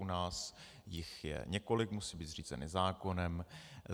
U nás jich je několik, musí být zřízeny zákonem.